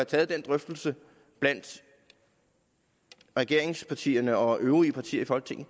taget en drøftelse blandt regeringspartierne og de øvrige partier i folketinget